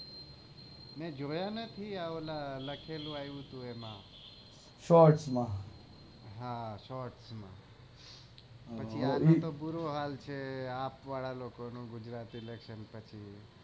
મેં જોયા નથી લખેલું આવું છે શોર્ટ્સ માં હા શોર્ટ્સ માં આટલો બૂરો હાલ છે આપ વાળા લોકો નું ગુજરાત ઇલેકશન પછી